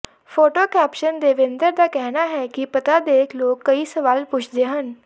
photo caption Devendra ਦਾ ਕਹਿਣਾ ਹੈ ਕਿ ਪਤਾ ਦੇਖ ਲੋਕ ਕਈ ਸਵਾਲ ਪੁੱਛਦੇ ਹਨ